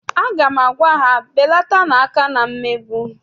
Aga m agwa ha, belatanu aka na mmegbu!